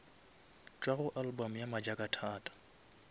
tšwa go album ya majakathata